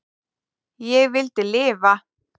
Ég vildi lifa.